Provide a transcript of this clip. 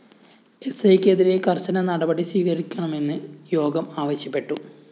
എസ്‌ഐക്കെതിരെ കര്‍ശന നടപടി സ്വീകരിക്കണമെന്ന് യോഗം ആവശ്യപ്പെട്ടു